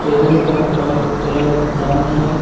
Table का करल colour brown है।